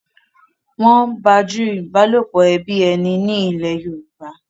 nwọn baju ìbálòpọ̀ ẹbí ẹní ní ilè yorùbá